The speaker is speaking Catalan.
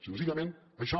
senzillament això